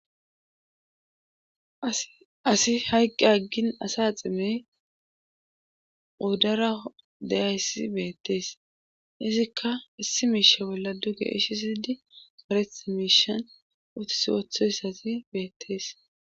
Asi hayqqi aggin asa ximey oddara deyayssi beettees izikka issi miisha bolla dugeeshisidi pareth miishan utis wothoyssati beettees.